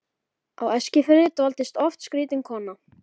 Á Eskifirði dvaldist oft skrýtin kona.